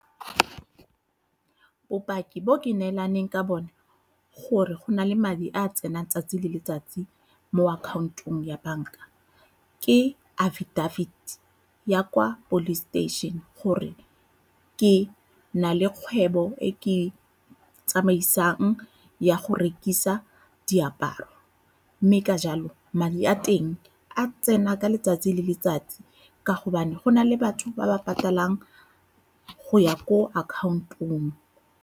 Bopaki bo ke neelaneng ka bone gore go na le madi a tsenang tsatsi le letsatsi mo account-ong ya banka ke affidavit ya kwa police station gore ke na le kgwebo e ke e tsamaisang ya go rekisa diaparo, mme ka jalo madi a teng a tsena ka letsatsi le letsatsi ka gobane go na le batho ba ba patalang go ya ko account-ong.